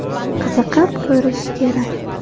Qiziqib ko‘rish kerak.